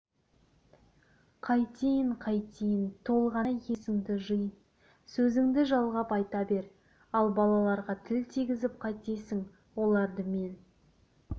қайтейін қайтейін толғанай есіңді жи сөзіңді жалғап айта бер ал балаларға тіл тигізіп қайтесің оларды мен